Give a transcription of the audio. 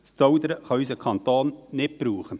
Ein Zaudern kann unser Kanton nicht brauchen.